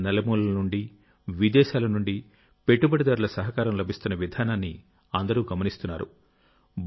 దేశం నలుమూలల నుండి విదేశాల నుండి పెట్టుబడిదారుల సహకారం లభిస్తున్న విధానాన్ని అందరూ గమనిస్తున్నారు